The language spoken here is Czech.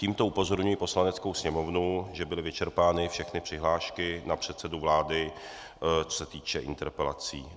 Tímto upozorňuji Poslaneckou sněmovnu, že byly vyčerpány všechny přihlášky na předsedu vlády, co se týče interpelací.